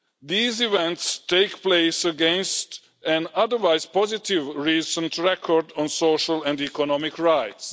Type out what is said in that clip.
These events take place against an otherwise positive recent record on social and economic rights.